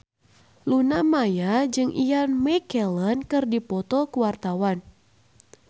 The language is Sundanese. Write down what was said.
Luna Maya jeung Ian McKellen keur dipoto ku wartawan